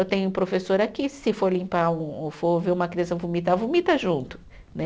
Eu tenho um professor aqui, se for limpar um ou for ver uma criança vomitar, vomita junto, né?